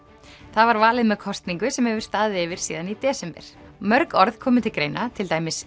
það var valið með kosningu sem hefur staðið yfir síðan í desember mörg orð komu til greina til dæmis